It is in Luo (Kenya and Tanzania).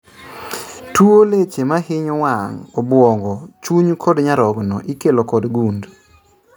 . Tuo leche mahinyo wang', obwongo, chuny kod nyarogno ikelo kod gund